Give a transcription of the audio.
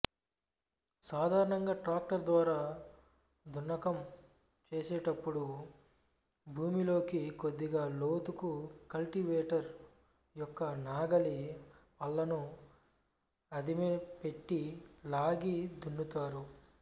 సాధారణంగా ట్రాక్టర్ ద్వారా దున్నకం చేసేటప్పుడు భూమిలోకి కొద్దిగా లోతుకు కల్టివేటర్ యొక్క నాగలి పళ్ళను అదిమిపెట్టి లాగి దున్నుతారు